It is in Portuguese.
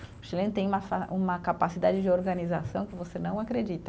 O Chileno tem uma fa, uma capacidade de organização que você não acredita.